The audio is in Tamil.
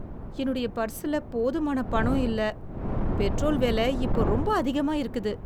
என்னுடைய பர்சுல போதுமான பணம் இல்லை. பெட்ரோல் விலை இப்ப ரொம்ப அதிகமாக இருக்குது.